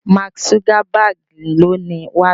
Mark Zuckerberg ló ni WhatsApp.